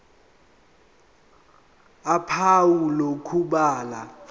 ph uphawu lokubhala